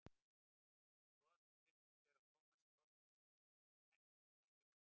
Brotið virtist vera á Tómasi Þorsteinssyni en ekkert dæmt.